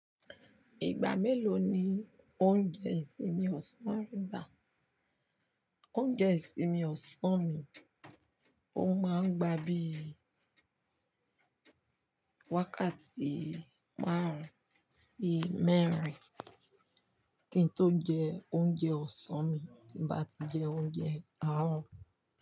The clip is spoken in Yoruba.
Ìgbà mélòó ni o ń jẹ ìsinmi ọ̀sán rẹ bà? Oúnjẹ ìsinmi ọ̀sán mi, ó máa ń gba bí i wákàtí márùn-ún sí mẹ́rin kí n tó jẹ oúnjẹ ọ̀sán mi tí ń bá ti jẹ oúnjẹ àárọ̀